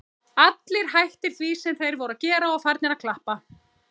Allir hættir því sem þeir voru að gera og farnir að klappa.